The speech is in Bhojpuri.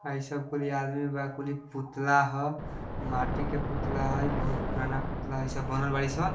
हइ सब कुहली आदमी बा कुहली पुतला ह माटी के पुतला ह इह बहुत पुराना पुतला हाई सब बनल बरी सं |